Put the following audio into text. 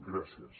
gràcies